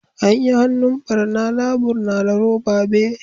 Anyi hannun bar na labur na da roba be.